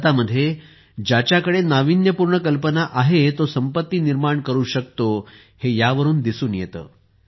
भारतात ज्याच्याकडे नाविन्यपूर्ण कल्पना आहे तो संपत्ती निर्माण करू शकतो हे यावरून दिसून येते